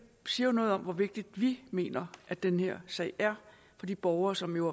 siger noget om hvor vigtig vi mener at den her sag er for de borgere som jo